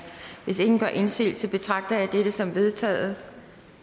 hvis ingen gør indsigelse betragter jeg dette som vedtaget